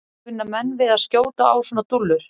Kunna menn við að skjóta á svona dúllur?